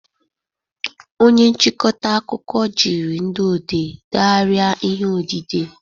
Onye nchịkọta akụkọ jiri ndị odee degharịa ihe odide